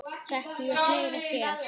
Þekkti ég fleiri hér?